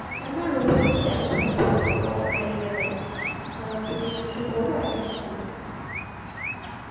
আমার robotic dance সম্পর্কে কোনো idea নেই, অ্যাঁ তুমি কি একটু বলবা এটা কী?